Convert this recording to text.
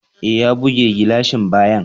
E, ya buge gilashin bayan.